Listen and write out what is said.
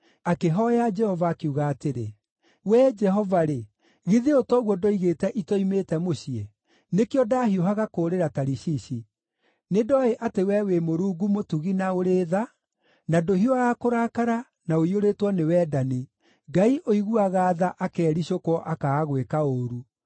Akĩhooya Jehova, akiuga atĩrĩ, “Wee Jehova-rĩ, githĩ ũũ toguo ndoigĩte itoimĩte mũciĩ? Nĩkĩo ndaahiũhaga kũũrĩra Tarishishi. Nĩndoĩ atĩ wee wĩ Mũrungu mũtugi na ũrĩ tha, na ndũhiũhaga kũrakara, na ũiyũrĩtwo nĩ wendani, Ngai ũiguaga tha akericũkwo akaaga gwĩka ũũru.